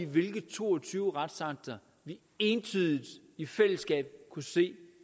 hvilke to og tyve retsakter vi entydigt i fællesskab kunne se